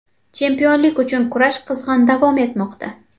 Chempionlik uchun kurash qizg‘in davom etmoqda.